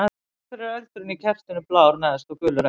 Af hverju er eldurinn á kertinu blár neðst og gulur efst?